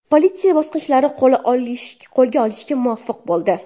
Politsiya bosqinchini qo‘lga olishga muvaffaq bo‘ldi.